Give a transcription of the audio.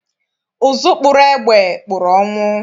Ụzụ kpụrụ egbe, kpụrụ ọnwụ